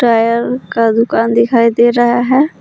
Tyre का दुकान दिखाई दे रहा है।